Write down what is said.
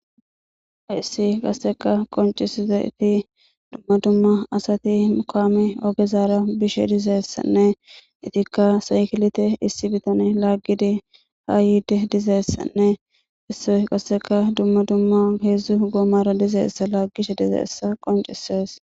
hayssi qasseka qoncisize iti dumma dumma asati kaame ogezaara bishe dizeessanne itikka saykilite issi bitan laaggidi haa yide dizeessanne isso qasseka dumma dumma heedzdzu goomara dizeessa laaggishe dizeessa qoncisees